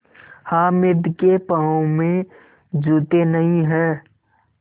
हामिद के पाँव में जूते नहीं हैं